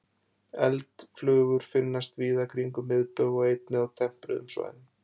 Eldflugur finnast víða kringum miðbaug og einnig á tempruðum svæðum.